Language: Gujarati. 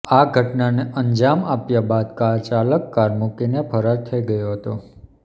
આ ઘટનાને અંજામ આપ્યા બાદ કારચાલાક કાર મૂકીને ફરાર થઇ ગયો હતો